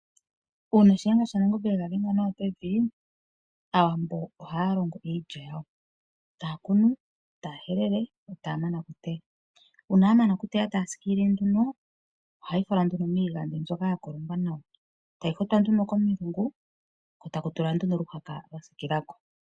Uuna shiyenga shanangombe engadhenga nawa pevi, aawambo ohalongo iilya yawo takunu, tahelele, etamana okuteya una yamana okuteya tasikilile nduno, ohayifalwa miigadhi mbyoka yakolongwa nawa etayihotwa nduno komilungu ko takutulwa okahala kasikilako.